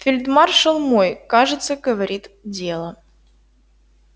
фельдмаршал мой кажется говорит дело